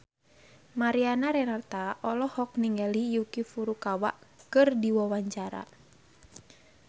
Mariana Renata olohok ningali Yuki Furukawa keur diwawancara